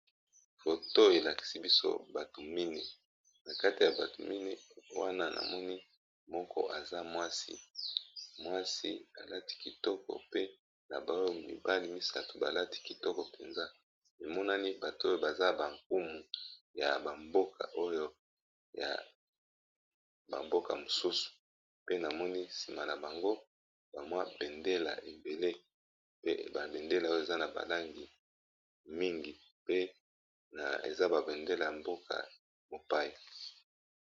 Foto elakisi biso bato mine na kati ya bato mini wana na moni moko aza mwasi mwasi alati kitoko pe na ba oyo mibali misato ba lati kitoko mpenza emonani bato oyo baza ba nkumu ya ba mboka oyo ya ba mboka mosusu pe na moni nsima na bango ba mwa bendela ebele pe ba bendela oyo eza na ba langi mingi pe na eza ba bendela ya mboka mopaya.